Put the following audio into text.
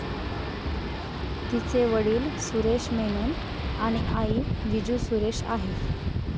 तिचे वडिल सुरेश मेनन आणि आई विजू सुरेश आहे.